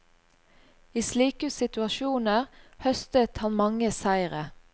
I slike situasjoner høstet han mange seire.